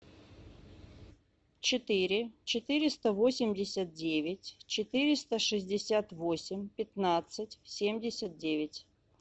четыре четыреста восемьдесят девять четыреста шестьдесят восемь пятнадцать семьдесят девять